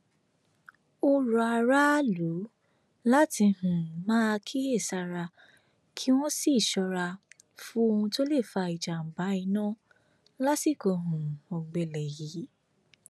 ó rọ aráàlú láti um máa kíyèsára kí wọn sì ṣọra fún ohun tó lè fa ìjàmbá iná lásìkò um ọgbẹlẹ yìí